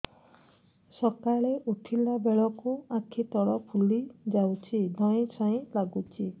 ସକାଳେ ଉଠିଲା ବେଳକୁ ଆଖି ତଳ ଫୁଲି ଯାଉଛି ଧଇଁ ସଇଁ ଲାଗୁଚି